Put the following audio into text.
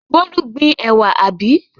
Bólú gbin ẹ̀wà, àbí?